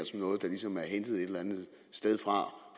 noget der ligesom er hentet et eller andet sted fra